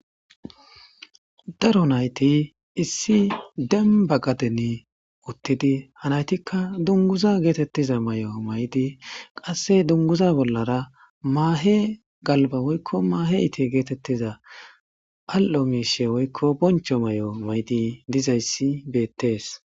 Daro nayti issi demba gadeni uttidi hanaytikka dunguza geetettiza may7o may7di qasse dunguza bollara maahe galba woykko maahe ite geetettiza al7o miishe woykko boncho may7o maydi dizayssi beettees.